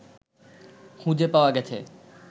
খুঁজে পাওয়া গেছে